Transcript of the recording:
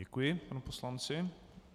Děkuji panu poslanci.